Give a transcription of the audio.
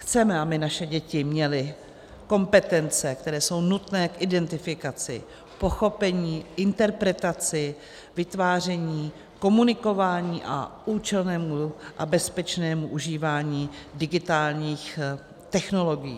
Chceme, aby naše děti měly kompetence, které jsou nutné k identifikaci, pochopení, interpretaci, vytváření, komunikování a účelnému a bezpečnému užívání digitálních technologií.